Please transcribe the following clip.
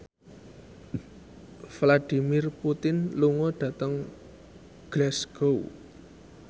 Vladimir Putin lunga dhateng Glasgow